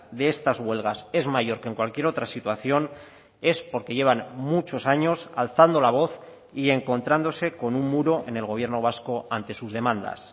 de estas huelgas es mayor que en cualquier otra situación es porque llevan muchos años alzando la voz y encontrándose con un muro en el gobierno vasco ante sus demandas